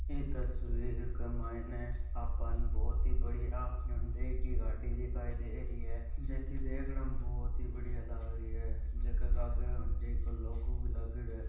ई तस्वीर के मायने आपाने बहोत ही बढ़िया हुंडई की गाड़ी दिखाई दे रही है जकी देखने में बहुत ही बढ़िया लाग रही है जका के आगे हुंडई को लोगो ( भी लागेङो है।